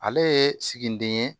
Ale ye siginiden ye